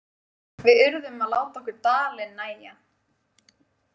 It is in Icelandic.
Við urðum að láta okkur dalinn nægja.